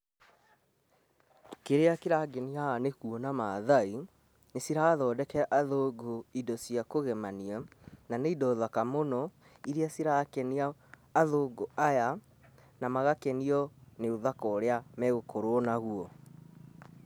Kĩrĩa kĩrangenia haha nĩ kuona Mathai nĩ cĩrathondekera athũngũ ĩndo cia kũgemania, na nĩ ĩndo thaka mũno ĩria cirakenia athũngũ aya na magakenio nĩ ũthaka ũria megũkorwo naguo.